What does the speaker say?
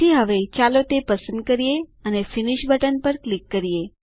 તેથી હવે ચાલો તે પસંદ કરીએ અને ફિનિશ બટન પર ક્લિક કરીએ